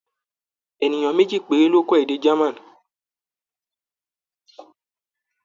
Ènìyàn méjì péré ló kọ́ èdè German.